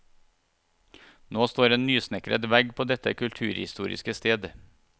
Nå står en nysnekret vegg på dette kulturhistoriske sted.